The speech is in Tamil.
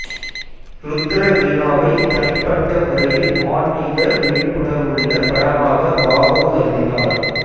ருத்ரவீணாவை தனிப்பட்ட முறையில் ஆன்மீக விழிப்புணர்வுள்ள படமாக பாபு கருதினார்